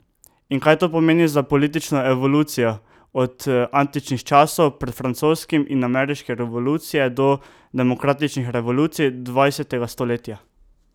In kaj to pomeni za politično evolucijo od antičnih časov pred francoski in ameriške revolucije do demokratičnih revolucij dvajsetega stoletja?